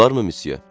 Olar mı Missiye?